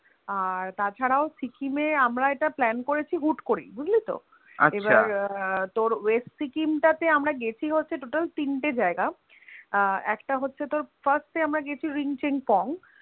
আর তাছাড়াও সিকিমে আমরা এটা Plan করেছি হুট করেই, বুঝলিতো আচ্ছা এবার তোর West সিকিম টাতে আমরা গিয়েছি হচ্ছে Total তিনটে যায়গায় আহ একটা হচ্ছে তোর First এ আমরা গিয়েছি Ring Ching Pong